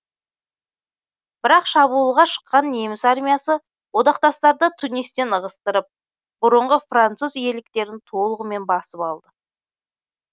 бірақ шабуылға шыққан неміс армиясы одақтастарды тунистен ығыстырып бұрынғы француз иеліктерін толығымен басып алды